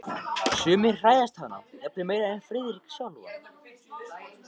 Sumir hræðast hana jafnvel meira en Friðrik sjálfan.